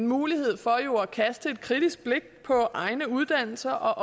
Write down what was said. mulighed for at kaste et kritisk blik på egne uddannelser